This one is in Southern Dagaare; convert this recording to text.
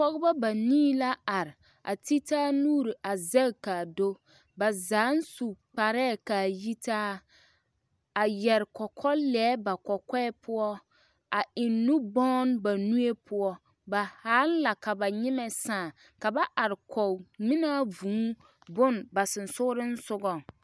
Pɔɡebɔ banii la are a te taa nuuri a zɛŋ ka a do ba zaaŋ su kparɛɛ ka a yitaa a yɛr kɔkɔlɛɛ ba kɔkɔɛ poɔ a eŋ nubɔn ba nue poɔ ba haaŋ la ka ba nyemɛ sãã ka ba are kɔɡe ŋmenaa vūū bone ba sonsooleŋ soɡaŋ.